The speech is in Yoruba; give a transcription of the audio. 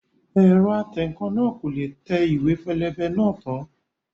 Ẹ̀rọ atẹǹkan náà kò le tẹ ìwé pélébé náà tán